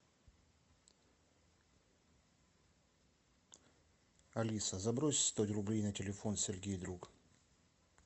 алиса забрось сто рублей на телефон сергей друг